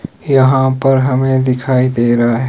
यहां पर हमें दिखाई दे रहा है।